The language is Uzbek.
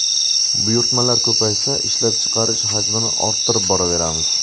Buyurtmalar ko‘paysa, ishlab chiqarish hajmini orttirib boraveramiz.